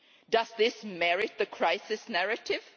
Does this merit the crisis narrative?